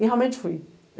E realmente fui.